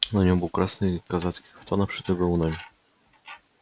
на нем был красный казацкий кафтан обшитый галунами